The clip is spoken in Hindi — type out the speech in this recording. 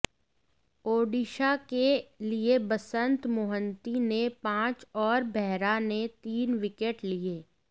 ओडिशा के लिए बसंत मोहंती ने पांच और बेहरा ने तीन विकेट लिए